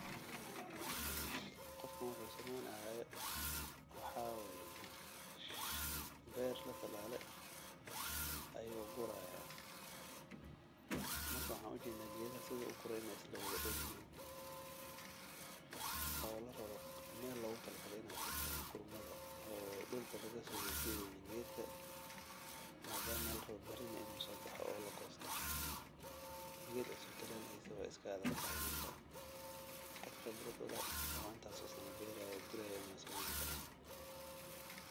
Qofkan wuxuuesameynayo waxaa waye beer la talaale ayuu guri haaya geedaha sida uu ugure waay isla dan yihiin madama aay meel fican kuyaalan